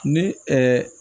Ni